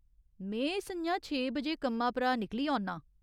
में स'ञां छे बजे कम्मा परा निकली औन्नां।